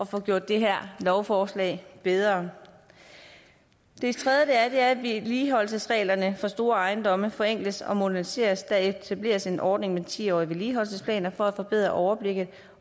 få gjort det her lovforslag bedre det tredje er at vedligeholdelsesreglerne for store ejendomme forenkles og moderniseres der etableres en ordning med ti årige vedligeholdelsesplaner for at forbedre overblikket